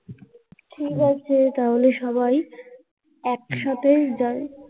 ঠিক আছে তাহলে সবাই একসাথে যাই